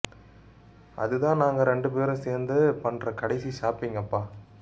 அதுதான் நாங்க ரெண்டு பேரும் சேர்ந்து பண்ற கடைசி ஷாப்பிங்னு அப்ப